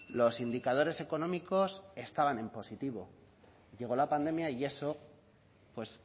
los indicadores económicos estaban en positivo llegó la pandemia y eso pues